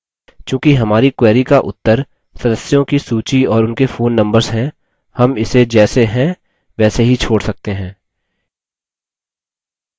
चूँकि हमारी query का उत्तर सदस्यों की सूची और उनके phone numbers हैं हम इसे जैसे हैं वैसे ही छोड़ सकते हैं